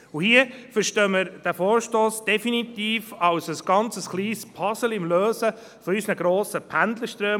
Hier verstehen wir den Vorstoss definitiv als ganz kleines Puzzleteilchen zur Lösung der grossen Pendlerströme.